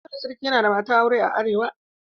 Dole sarki ya na da matar aure a arewa.